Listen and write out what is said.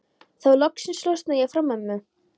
Þá loksins losnaði ég frá mömmu.